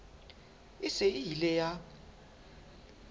e se e ile ya